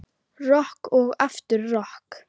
Rokk og aftur rokk.